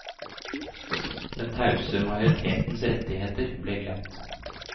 Den tause majoritetens rettigheter ble glemt.